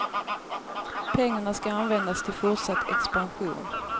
Pengarna ska användas till fortsatt expansion.